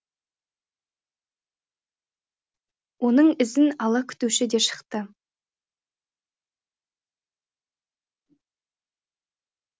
оның ізін ала күтуші де шықты